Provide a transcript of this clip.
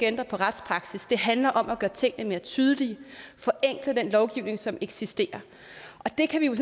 ændre på retspraksis det handler om at gøre tingene mere tydelige forenkle den lovgivning som eksisterer og det kan